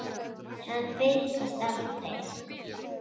Hann birtist aldrei.